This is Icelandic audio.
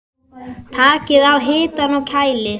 Takið af hitanum og kælið.